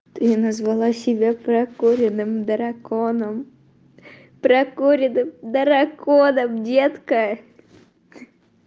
ты же назвала себя прокуренным драконом прокуренным драконом детка